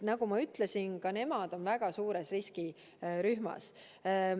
Nagu ma ütlesin, ka nemad on väga suure riski rühmas.